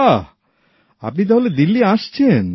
বাহ আপনি তাহলে দিল্লী আসছেন